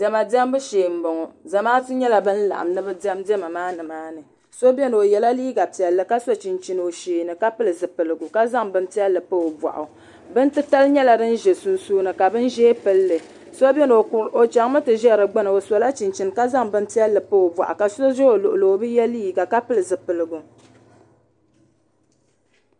diɛma diɛmbu shee n bɔŋɔ zamaatu nyɛla bin laɣam ni bi diɛm diɛma maa nimaani so biɛni o yɛla liiga piɛlli ka so chinchini o sheeni ka pili zipiligu ka zaŋ bin piɛlli pa o boɣu bin titali nyɛla din ʒɛ sunsuuni ka bin ʒiɛ pilli so biɛni o chɛŋmi ti ʒɛ di gbuni o sola chinchin ka zaŋ bini piɛlli pa o boɣu ka so bɛ o luɣuli ni o bi yɛ liiga ka pili zipiligu